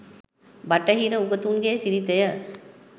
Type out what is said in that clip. බටහිර උගතුන් ගේ සිරිත ය.